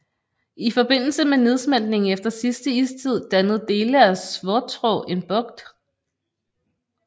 I forbindelse med nedsmeltningen efter sidste istid dannede dele af Svartrå en bugt